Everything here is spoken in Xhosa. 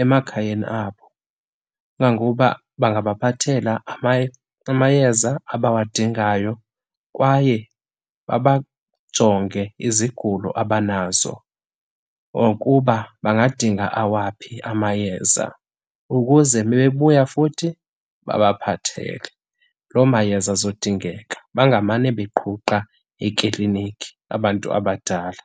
emakhayeni abo. Kangangoba bangabaphathela amayeza abawadingayo kwaye babajonge izigulo abanazo okuba bangadinga awaphi amayeza ukuze mebebuya futhi babaphathele loo mayeza azodingeka, bangamane beqhuqha eklinikhi abantu abadala.